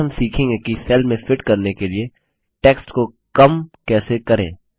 आगे हम सीखेंगे कि सेल में फिट करने के लिए टेक्स्ट को कम कैसे करें